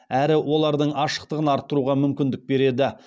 әрі олардың ашықтығын арттыруға мүмкіндік береді